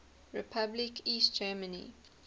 republic east germany